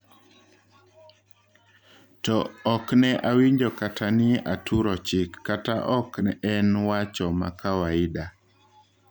To okne awinjo kata ni aturo chik ,kata ok en wach makawaida."